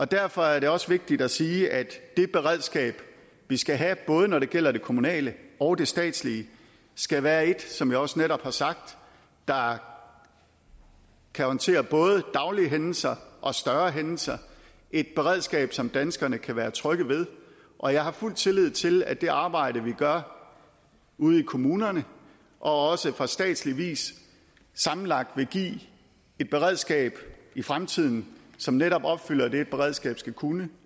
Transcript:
derfor er det også vigtigt at sige at det beredskab vi skal have både når det gælder det kommunale og det statslige skal være et som jeg også netop har sagt der kan håndtere både daglige hændelser og større hændelser et beredskab som danskerne kan være trygge ved og jeg har fuld tillid til at det arbejde vi gør ude i kommunerne og også fra statslig side sammenlagt vil give et beredskab i fremtiden som netop opfylder det et beredskab skal kunne